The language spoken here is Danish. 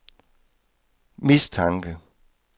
mistanke